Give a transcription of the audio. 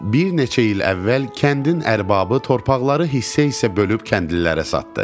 Bir neçə il əvvəl kəndin ərbabı torpaqları hissə-hissə bölüb kəndlilərə satdı.